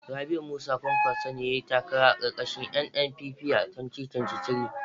Rabiu Musa kwankwaso ne yayi takara karkashin NNPP a 2023